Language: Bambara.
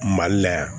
Mali la yan